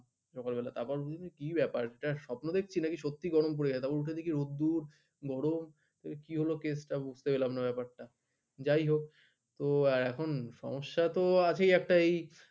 সকালবেলা কি ব্যাপার স্বপ্ন দেখছি নাকি সত্যি গরম পড়ে গেছে উঠে দেখি রোদ্দুর গরম কি হল case টা বুঝতে পেলাম না ব্যাপার টা যায় হোক তো এখন সমস্যা তো আছে একটাই